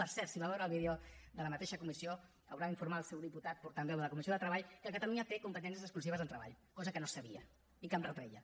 per cert si va veure el vídeo de la mateixa comissió haurà d’informar al seu diputat portaveu de la comissió de treball que catalunya té competències exclusives en treball cosa que no sabia i que em retreia